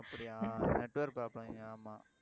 அப்படியா network problem இங்க ஆமா